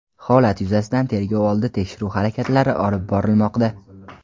Holat yuzasidan tergov oldi tekshiruv harakatlari olib borilmoqda.